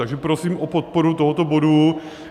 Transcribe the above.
Takže prosím o podporu tohoto bodu.